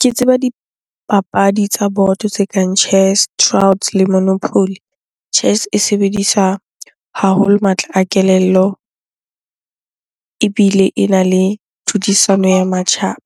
Ke tseba dipapadi tsa boto tse kang chess le monopoly. Chess e sebediswa haholo matla a kelello ebile ena le tlhodisano ya matjhaba.